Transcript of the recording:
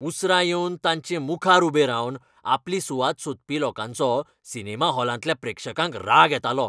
उसरां येवन तांचे मुखार उबे रावन आपली सुवात सोदपी लोकांचो सिनेमा हॉलांतल्या प्रेक्षकांक राग येतालो.